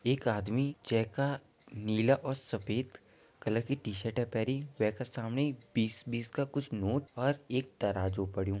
एक आदमी जैका नीला और सफेद कलर की टी शर्ट है पैरीं वेका समणी बीस बीस का कुछ नोट और एक तराजू पड़्युं।